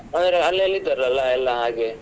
ಅವರು ಅಲ್ಲಲ್ಲಿ ಇದ್ದರಲ್ಲ ಎಲ್ಲ ಹಾಗೆ.